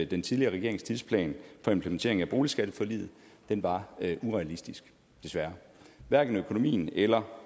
den tidligere regerings tidsplan for implementering af boligskatteforliget var urealistisk hverken økonomien eller